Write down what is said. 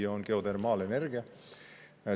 See on geotermaalenergia.